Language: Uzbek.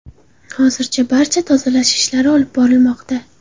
Hozirda barcha tozalash ishlari olib borilmoqda.